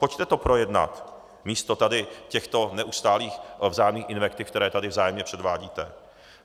Pojďte to projednat místo tady těchto neustálých vzájemných invektiv, které tady vzájemně předvádíte.